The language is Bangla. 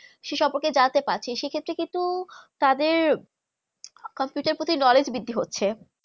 সেই সম্পর্কে জান্তে পাড়ছি সে থেকে কিন্তু computer প্রতি knowledge ব্রিধি হচ্ছে